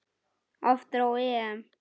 Aftur á EM.